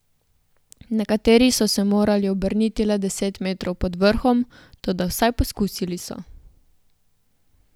Nekateri so se morali obrniti le deset metrov pod vrhom, toda vsaj poskusili so.